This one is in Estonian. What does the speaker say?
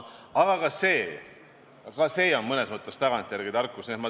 Aga ka see on mõnes mõttes tagantjärele tarkus.